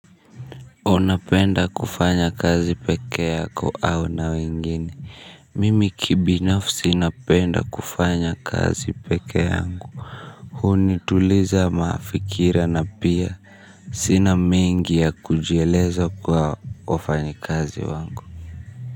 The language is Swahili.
Unapenda kufanya kazi pekee yako au na wengine, mimi kibinafsi napenda kufanya kazi pekee yangu. Hunituliza mafikira na pia, sina mengi ya kujieleza kwa wafanyi kazi wangu.